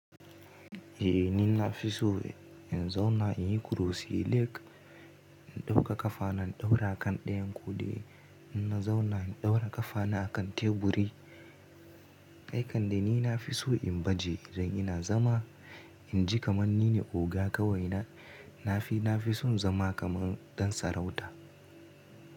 Eh ni na fi so in zauna in yi kurusi leg, in ɗauka ƙafa na ɗaura a kan ɗayan kodai. In na zauna in ɗaura ƙafa na a kan teburi. Ai kande ni na fi so in baje idan ina zama. In ji kamar ni ne oga kawai na. Na fi na fi son zama kamar ɗan sarauta.